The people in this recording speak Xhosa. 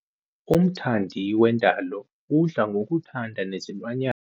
Umthandi wendalo udla ngokuthanda nezilwanyana.